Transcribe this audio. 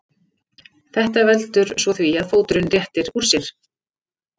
Þetta veldur svo því að fóturinn réttir úr sér.